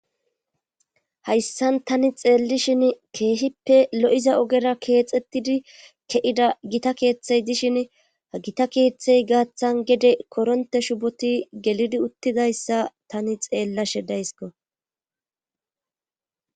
Hayssan tani xeellishin keehippe lo'iza ogera keexettidi ke'ida gita keeththey dishin gita keeththey gaaththan gede koronte shuboti gelidi uttidayssa tani xeellashe daysko.